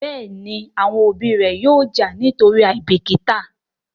Béèni àwọn òbí ré yóò já nítorí àìbìkítà.